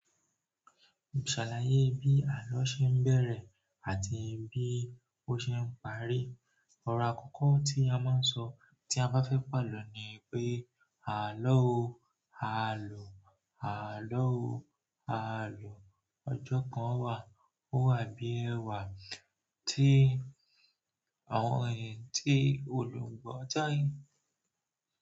Sàlàyé bí àlọ́ ṣe ń bẹ̀rẹ̀ àti bí ó ṣe ń parí. Ọ̀rọ̀ àkọ́kọ́ tí a máa ń sọ tí a bá fẹ́ pàlọ́ ni pé àlọ́ o, àlọ́, àlọ́ o, àlọ́. Ọjọ́ kan wà, ó wà bí ẹ̀wà tí àwọn èyàn tí olùgbọ̀ tọ́ yín.